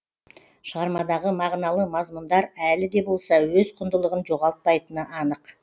шығармадағы мағыналы мазмұндар әлі де болса өз құндылығын жоғалтпайтыны анық